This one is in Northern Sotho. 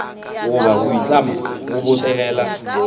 goba go itlama go botegela